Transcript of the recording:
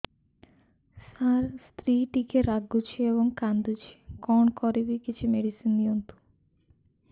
ସାର ସ୍ତ୍ରୀ ଟିକେ ରାଗୁଛି ଏବଂ କାନ୍ଦୁଛି କଣ କରିବି କିଛି ମେଡିସିନ ଦିଅନ୍ତୁ